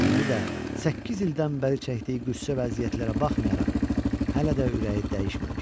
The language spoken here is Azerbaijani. İndi də səkkiz ildən bəri çəkdiyi qüssə və əziyyətlərə baxmayaraq hələ də ürəyi dəyişməmişdi.